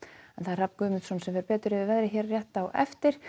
Hrafn Guðmundsson fer betur yfir veðrið hér rétt á eftir